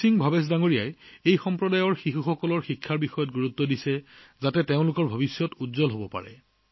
ভীম সিং ভৱেশ জীয়ে এই সম্প্ৰদায়ৰ লৰাছোৱালীক শিক্ষিত কৰাটো নিজৰ জীৱনৰ কেন্দ্ৰবিন্দু কৰি লৈছে যাতে তেওঁলোকৰ ভৱিষ্যত উজ্জ্বল হয়